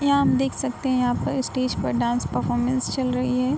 यहाँ आप देख सकते है | यहाँ पे स्टेज पे डांस परफॉरमेंस चल रही है |